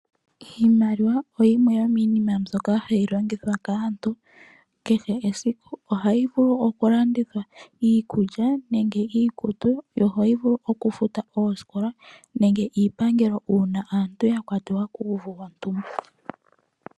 Iimaliwa yimwe yomiinima mbyoka hayi longithwa kaantu kehe esiku. Ohayi vulu okulandithwa iikulya nenge iikutu. Ohayi vulu okufuta oosikola nenge iipangelo uuna aantu yakwatiwa kuuvu wontumba.